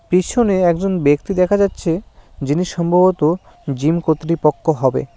পিছনে একজন ব্যক্তি দেখা যাচ্ছে যিনি সম্ভবত জিম কর্তৃপক্ষ হবে।